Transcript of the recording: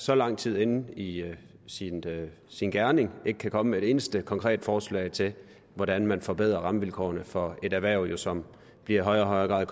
så lang tid inde i sin gerning ikke kan komme med et eneste konkret forslag til hvordan man forbedrer rammevilkårene for et erhverv som i højere og højere grad